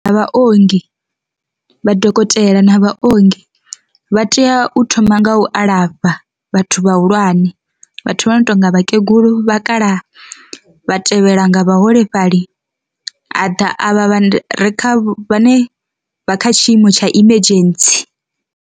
Vha ongi vha dokotela na vha ongi vha tea u thoma nga u alafha vhathu vhahulwane vhathu vha notonga vhakegulu, vhakalaha, vha tevhela nga vhaholefhali ha ḓa a vha re kha vhane vha kha tshiimo tsha emergency.